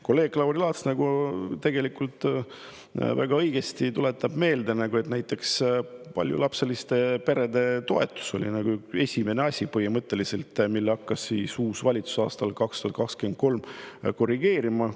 Kolleeg Lauri Laats tuletab väga õigesti meelde, et näiteks paljulapseliste perede toetus oli põhimõtteliselt esimene asi, mida uus valitsus hakkas aastal 2023 korrigeerima.